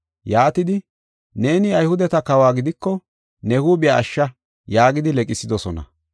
Yaatidi, “Neeni Ayhudeta kawo gidiko ne huuphiya ashsha” yaagidi leqsidosona.